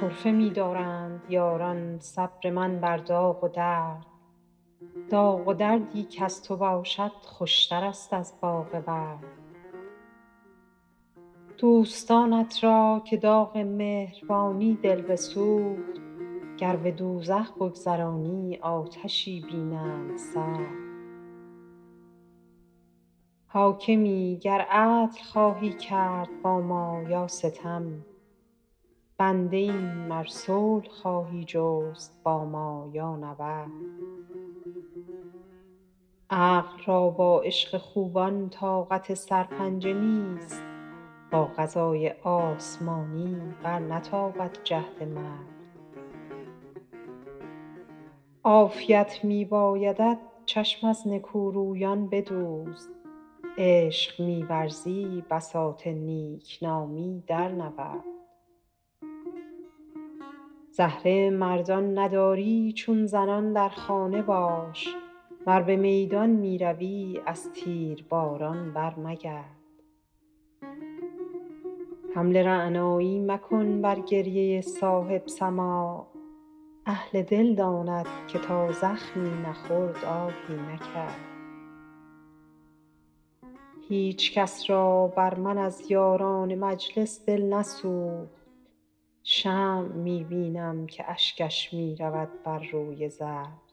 طرفه می دارند یاران صبر من بر داغ و درد داغ و دردی کز تو باشد خوشترست از باغ ورد دوستانت را که داغ مهربانی دل بسوخت گر به دوزخ بگذرانی آتشی بینند سرد حاکمی گر عدل خواهی کرد با ما یا ستم بنده ایم ار صلح خواهی جست با ما یا نبرد عقل را با عشق خوبان طاقت سرپنجه نیست با قضای آسمانی برنتابد جهد مرد عافیت می بایدت چشم از نکورویان بدوز عشق می ورزی بساط نیک نامی درنورد زهره مردان نداری چون زنان در خانه باش ور به میدان می روی از تیرباران برمگرد حمل رعنایی مکن بر گریه صاحب سماع اهل دل داند که تا زخمی نخورد آهی نکرد هیچ کس را بر من از یاران مجلس دل نسوخت شمع می بینم که اشکش می رود بر روی زرد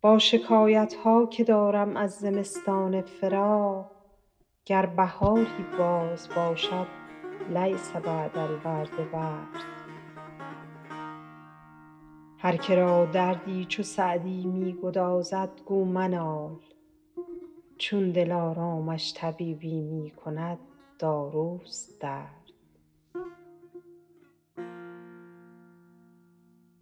با شکایت ها که دارم از زمستان فراق گر بهاری باز باشد لیس بعد الورد برد هر که را دردی چو سعدی می گدازد گو منال چون دلارامش طبیبی می کند داروست درد